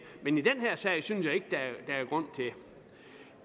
men i den her sag synes jeg ikke